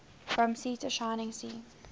from sea to shining sea